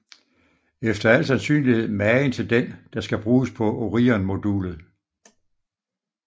Efter al sandsynlighed magen til den der skal bruges på Orionmodulet